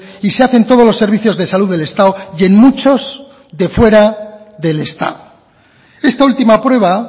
y se hace en todos los servicios de salud del estado y en muchos de fuera del estado esta última prueba